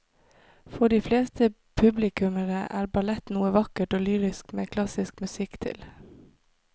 For de fleste publikummere er ballett noe vakkert og lyrisk med klassisk musikk til.